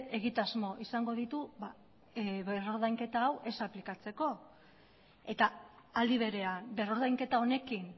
egitasmo izango ditu berrordainketa hau ez aplikatzeko eta aldi berean berrordainketa honekin